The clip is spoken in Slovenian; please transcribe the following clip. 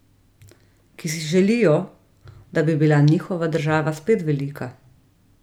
Ki si želijo, da bi bila njihova država spet velika.